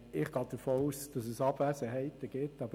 Ich gehe davon aus, dass es Abwesenheiten geben wird.